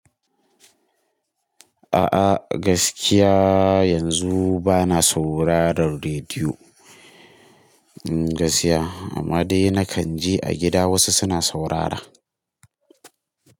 A'a gaskiya yanzu bana saurarar rediyo, gaskiya amma dai na kan je a gida wasu suna saurara.